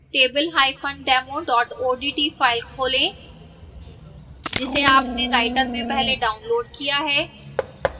tabledemo odt file खोलें जिसे open writer में पहले downloaded किया है